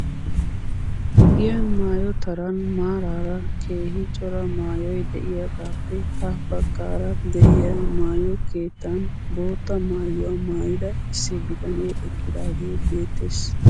Giyan maayo taran maaraara keehi cora maayoy de'iyaagaappe ha bagaara de'iyaa maayo keettan bootta maayuwaa maayida issi bitanee eqqidaagee beettes.